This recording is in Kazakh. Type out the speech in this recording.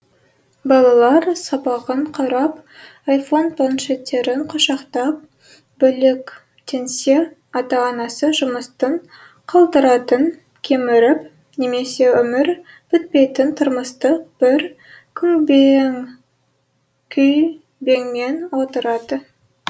балалар сабағын қарап айфон планшеттерін құшақтап бөлектенсе ата анасы жұмыстың қалдытарын кеміріп немесе өмірі бітпейтін тұрмыстық бір күйбеңмен отырады